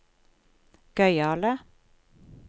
gøyale